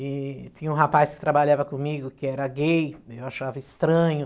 e tinha um rapaz que trabalhava comigo que era gay, eu achava estranho.